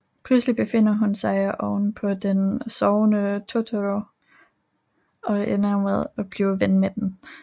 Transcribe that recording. Pludseligt befinder hun sig ovenpå den sovende Totoro og ender med at blive ven med den